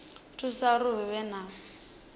thusa uri hu vhe na